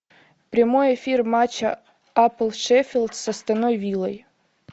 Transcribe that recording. прямой эфир матча апл шеффилд с астон виллой